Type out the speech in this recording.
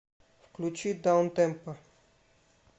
включи даунтемпо